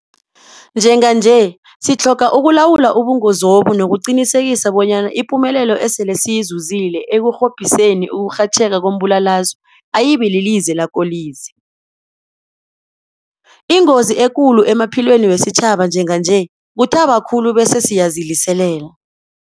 Njenganje sitlhoga ukulawula ubungozobu nokuqinisekisa bonyana ipumelelo esele siyizuzile ekurhobhiseni ukurhatjheka kombulalazwe ayibililize lakolize. Ingozi ekulu emaphilweni wesitjhaba njenganje kuthaba khulu bese siyaziliselela.